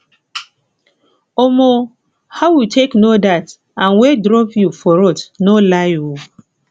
um how you take no dat an wey drop you for road no lie oo